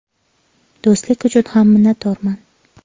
Do‘stlik uchun ham minnatdorman.